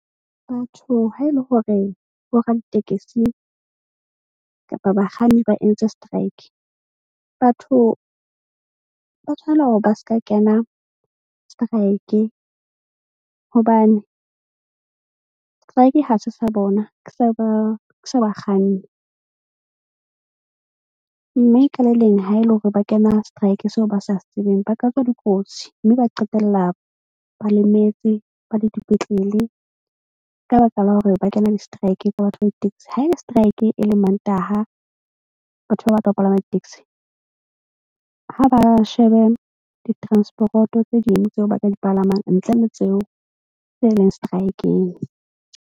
Batho ha e le hore bo raditekesi kapa bakganni ba entse strike. Batho ba tshwanela hore ba se ka kena strike. Hobane strike ha se sa bona ke sa ba ke sa bakganni. Mme ka le leng ha e le hore ba kena strike seo ba sa tsebeng ba ka tswa dikotsi. Mme ba qetella ba lemetse ba le dipetlele ka baka la hore ba kena di-strike le batho ba ditekesi. Ha e le strike e leng Mantaha, batho ba batla ho palama di-taxi ha ba shebe ditransporoto tse ding tseo ba ka di palamang ntle le tseo tse e leng strike-eng.